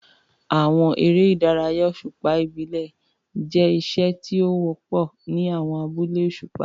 Àwọn eré ìdárayá òṣùpá ìbílẹ̀ jẹ́ iṣẹ́ tí ó wọ́pọ̀ ní àwọn alẹ́ òṣùpá.